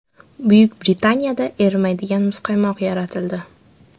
Buyuk Britaniyada erimaydigan muzqaymoq yaratildi.